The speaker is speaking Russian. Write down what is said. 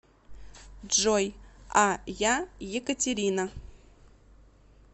джой а я екатерина